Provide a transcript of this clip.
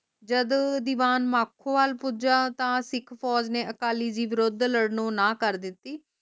ਜਦ ਦੀਵਾਨ ਮਾਖੋ ਵੱਲ ਪੂਜਯ ਤਾ ਸਿੱਖ ਫੋਜ ਨੇ ਅਕਾਲੀ ਦੇ ਵਿਰੁੱਧ ਲੜਨੋਂ ਨਾਂ ਕਰਤੀ